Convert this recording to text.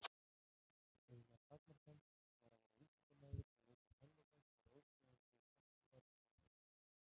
Eina takmark hans var að vera vísindamaður og leita sannleikans af óstöðvandi þekkingar- og rannsóknarþrá.